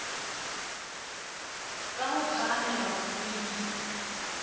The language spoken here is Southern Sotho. ka ho phahamela ho hlwibila